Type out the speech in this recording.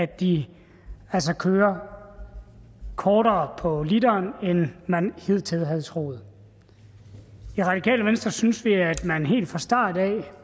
de altså kører kortere på literen end man hidtil havde troet i radikale venstre synes vi at man helt fra start af